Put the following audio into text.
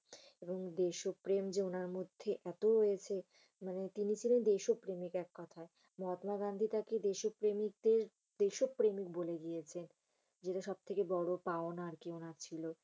এবং দেশপ্রেম যে উনার মধ্যে এত রয়েছে। মানি তিনি ছিলেন দেশপ্রমিক এককথায়। মহাত্মা গান্ধী তাকে দেশ প্রেমিক কে দেশ প্রেমিক বলে গিয়েছেন। যেটা সবথেকে বড় পাওনা উনার ছিল।